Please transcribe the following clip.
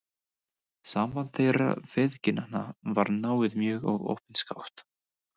Samband þeirra feðginanna var náið mjög og opinskátt.